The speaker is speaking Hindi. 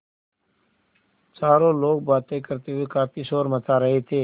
चारों लोग बातें करते हुए काफ़ी शोर मचा रहे थे